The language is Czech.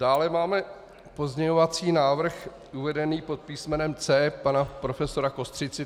Dále máme pozměňovací návrh uvedený pod písmenem C pana profesora Kostřici.